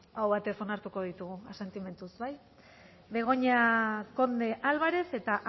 aho batez onartuko ditugu asentimentuz begoña conde álvarez eta